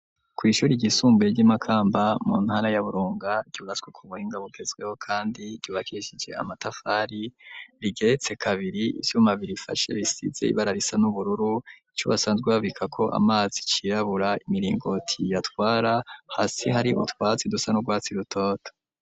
Ku ishure ryisumbuye ryimakamba mu ntara ya Burunga ryubatswe kubuhinga bugezweho kandi ryubakishije amatafari rigeretse kabiri ivyuma birifashe bisize ibara risa n'ubururu icobasanzwe babika ko amazi cirabura imiringoti yatwara hasi hari utwatsi dusa n'urwatsi rutoto.